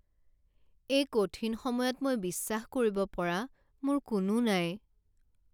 এই কঠিন সময়ত মই বিশ্বাস কৰিব পৰা মোৰ কোনো নাই।